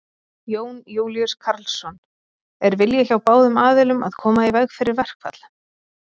Jón Júlíus Karlsson: Er vilji hjá báðum aðilum að koma í veg fyrir verkfall?